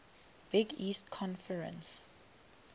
big east conference